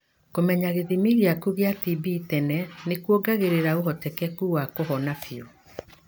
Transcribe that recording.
Kũmenya gĩthimi gĩaku gia TB tene nĩkuongagĩrĩra ũhotekeku wa kuhona biu.